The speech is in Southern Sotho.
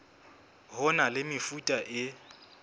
ho na le mefuta e